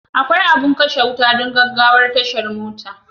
Akwai abin Kashe wuta don gaggawa a tashar mota.